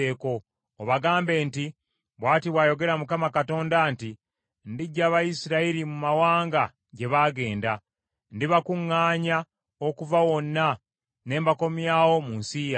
obagambe nti, ‘Bw’ati bw’ayogera Mukama Katonda nti, Ndiggya Abayisirayiri mu mawanga gye baagenda. Ndibakuŋŋaanya okuva wonna, ne mbakomyawo mu nsi yaabwe.